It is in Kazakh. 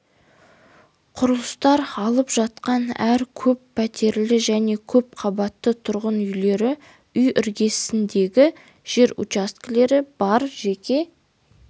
құрылыстар алып жатқан әр көп пәтерлі және көп қабатты тұрғын үйлері үй іргесіндегі жер учаскелер бар жеке